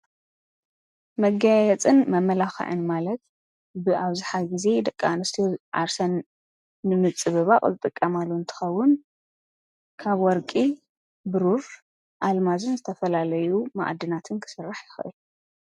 መጋየፅን መመላክዕን ማለት ብኣብዝሓ ግዜ ደቂ ኣንስትዮ ዓርሰን ንምፅብባቅ ዝጥቀማሉ እንትከዉን ከም ወርቂ፣ ቡሩረ፣ ኣልማዝን ዝተፈላለዩ መኣድናትን ክስራሕ ይክእል፡፡